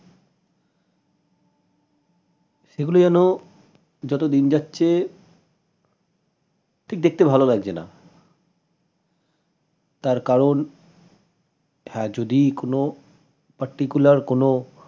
সেগুলো যেন যতদিন যাচ্ছে ঠিক দেখতে ভাল লাগছে না তার কারন হ্যাঁ যদি কোনো particular কোনো